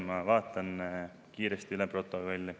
Ma vaatan kiiresti üle protokolli.